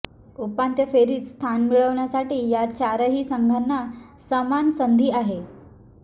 उपांत्य फेरीत स्थान मिळवण्यासाठी या चारही संघांना समान संधी आहे